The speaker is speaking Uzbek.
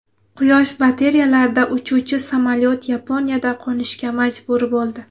Quyosh batareyalarida uchuvchi samolyot Yaponiyada qo‘nishga majbur bo‘ldi.